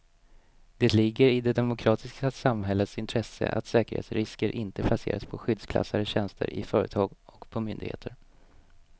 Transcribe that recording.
Det ligger i det demokratiska samhällets intresse att säkerhetsrisker inte placeras på skyddsklassade tjänster i företag och på myndigheter.